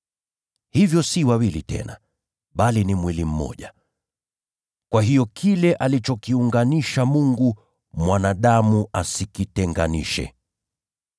Hivyo si wawili tena, bali mwili mmoja. Kwa hiyo alichokiunganisha Mungu, mwanadamu asikitenganishe.”